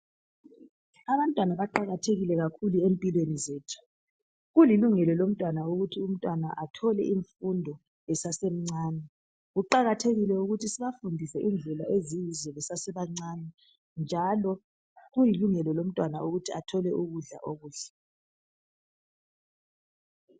Abantwana baqakathekile kakhulu empilweni zethu , kulilungelo lomntwana ukuthi umntwana athole izifundo esasemcane , kuqakathekile ukuthi sibafundise indlela ezinhle besasebancane njalo kuyilungelo lomntwana ukuthi athole ukudla okuhle